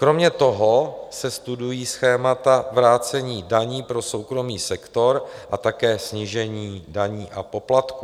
Kromě toho se studují schémata vrácení daní pro soukromý sektor a také snížení daní a poplatků.